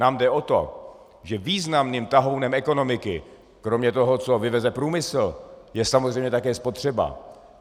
Nám jde o to, že významným tahounem ekonomiky, kromě toho, co vyveze průmysl, je samozřejmě také spotřeba.